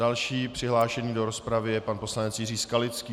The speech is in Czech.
Další přihlášený do rozpravy je pan poslanec Jiří Skalický.